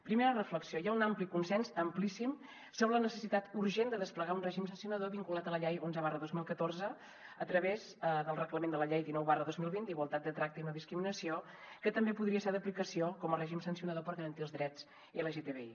primera reflexió hi ha un ampli consens amplíssim sobre la necessitat urgent de desplegar un règim sancionador vinculat a la llei onze dos mil catorze a través del reglament de la llei dinou dos mil vint d’igualtat de tracte i no discriminació que també podria ser d’aplicació com a règim sancionador per garantir els drets lgtbi